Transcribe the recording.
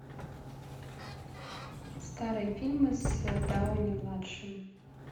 старые фильмы с дауни младшим